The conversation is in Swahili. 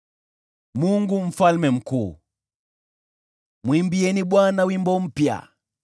Mwimbieni Bwana wimbo mpya; mwimbieni Bwana dunia yote.